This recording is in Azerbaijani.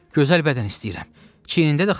Gözəl bədən istəyirəm, çiyinində də xal.